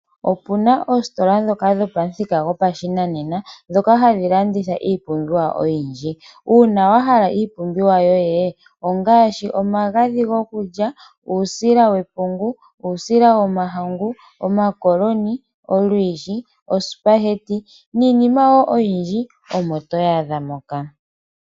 Opuna oositola ndhoka dhopa muthika godhinanena ndhoka hadhi landitha iipumbiwa oyindji. Uuna wa hala iipumbiwa yoye, ongaashi, omagadhi gokulya uusila wepungu, uusila womahangu omakoloni, olwiishi, osipaheti niinima wo oyindji omo toyaadha moka.